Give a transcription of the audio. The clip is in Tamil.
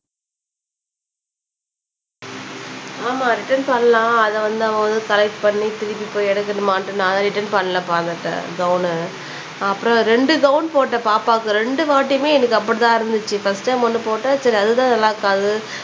ஆமாம் ரிட்டன் பண்ணலாம் அத வந்து அவங்க வந்து கரெக்ட் பண்ணி திருப்பி போய் எடுக்கணுமான்னுட்டு நான் தான் ரிட்டன் பண்ணலப்பா அந்த ட கௌன்ன அப்புறம் ரெண்டு கௌன் போட்டேன் பாப்பாக்கு ரெண்டு வாட்டியுமே எனக்கு அப்படி தான் இருந்துச்சு ஃபஸ்ட் டைம் ஒண்ணு போட்டேன் சரி அது தான் நல்லா இருக்காது